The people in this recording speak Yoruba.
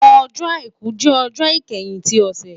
Ọjọ́-Àìkú jẹ ọjọ ikẹhin ti ọsẹ